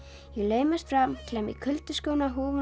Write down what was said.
ég laumast fram klæði mig í kuldaskóna húfuna